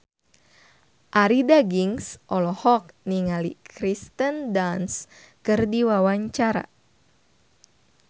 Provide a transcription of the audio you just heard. Arie Daginks olohok ningali Kirsten Dunst keur diwawancara